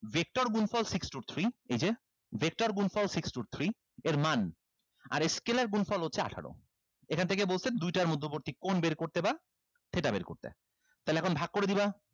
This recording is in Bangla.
vector গুনফল six two three এই যে vector গুনফল six two three এর মান আর scalar গুনফল হচ্ছে আঠারো এইখান থেকে বলছে দুইটার মধ্যবর্তী কোন বের করতে বা theta বের করতে তাহলে এখন ভাগ করে দিবা